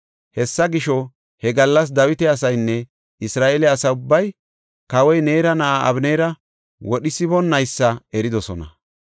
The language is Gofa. Hessa gisho, he gallas Dawita asaynne Isra7eele asa ubbay kawoy Neera na7aa Abeneera wodhisiboonaysa eridosona.